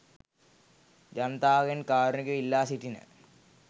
ජනතාවගෙන් කාරුණිකව ඉල්ලා සිටින